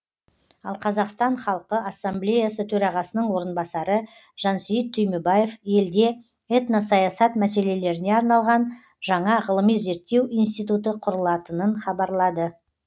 ал қазақстан халқы ассамблеясы төрағасының орынбасары жансейіт түймебаев елде этносаясат мәселелеріне арналған жаңа ғылыми зерттеу институты құрылатынын хабарлады